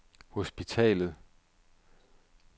hospitalet